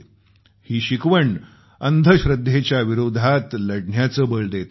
ही शिकवण अंधश्रद्धेच्या विरोधात लढण्याचं बळं देत आहे